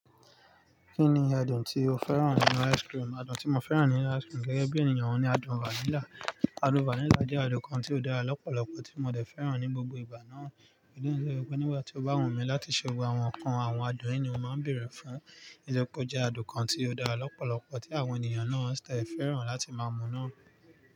Kí ni adùn tí o fẹ́ràn nínu ice cream? Adùn tí mo fẹ́ràn nínu ice cream gẹ́gẹ́ bí ènìyàn ni adùn vanilla. Adùn vanilla jẹ́ adùn kan tí ó dára lọ́pọ̀lọpọ̀ tí mo tẹ̀ de fẹ́ràn ní gbogbo ìgbà náà. Igba mii de wa nígbà tí o bá wù mí láti ṣe gbogbo àwọn ǹkan àwọn adùn yii ni mo máa ń bèrè fún. Nítori pe o jẹ́ adùn kan tí ó dára lọ́pọ̀lọpọ̀ tí àwọn ènìyàn náà tẹ̀ fẹ́ràn láti máa mu náà.